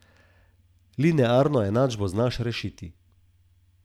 Linearno enačbo znaš rešiti.